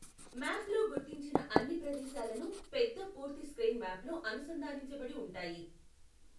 మ్యాప్లో గుర్తించిన అన్ని ప్రదేశాలను పెద్ద పూర్తి స్క్రీన్ మ్యాప్లో అనుసంధానించబడి ఉంటాయి.